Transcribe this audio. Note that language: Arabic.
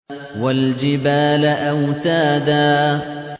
وَالْجِبَالَ أَوْتَادًا